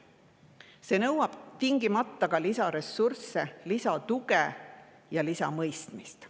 See nõuab tingimata lisaressursse, lisatuge ja lisamõistmist.